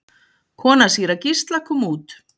Kona síra Gísla kom út.